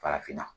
Farafinna